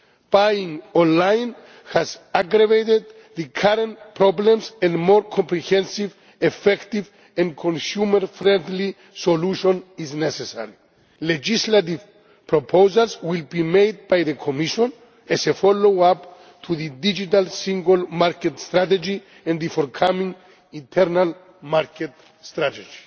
Buying online has aggravated the current problems and a more comprehensive, effective and consumer friendly solution is necessary. Legislative proposals will be made by the Commission as a follow up to the Digital Single Market Strategy and the forthcoming Internal Market Strategy.